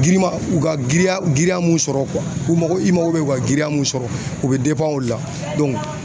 Giriman u ka giriya giriya mun sɔrɔ u mako i mako be giriya mun sɔrɔ u be o la